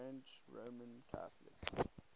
french roman catholics